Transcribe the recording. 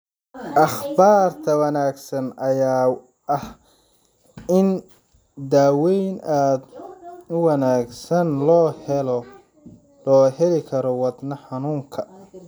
Akhbaarta wanaagsan ayaa ah in daweyn aad u wanaagsan loo heli karo wadne xanuunka.